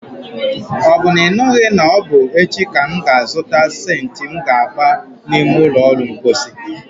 Ọ bụ na ị nụghị na ọbụ echi ka m ga azụta sentị m ga agba n'ime ụlọ ulo mposi?